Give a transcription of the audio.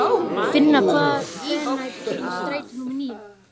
Finna, hvenær kemur strætó númer níu?